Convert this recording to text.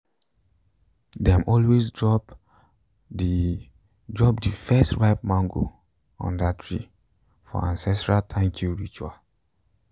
dem always drop the drop the first ripe mango under tree for ancestral thank you ritual.